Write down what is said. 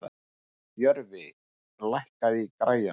Jörfi, lækkaðu í græjunum.